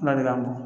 Ala de ka bon